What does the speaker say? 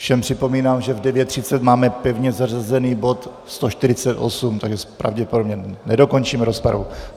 Všem připomínám, že v 9.30 máme pevně zařazený bod 148, takže pravděpodobně nedokončíme rozpravu.